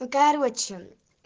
да короче